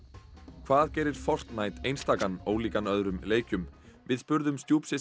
hvað gerir einstakan ólíkan öðrum leikjum við spurðum